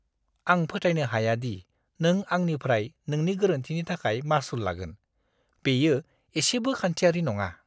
आं फोथायनो हाया दि नों आंनिफ्राय नोंनि गोरोन्थिनि थाखाय मासुल लागोन। बेयो एसेबो खान्थिआरि नङा।